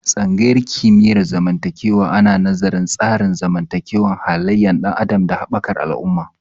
Tsangayar kimiyyar zamantakewa ana nazarin tsarin zamantakewa, halayen ɗan adam, da haɓakar al'umma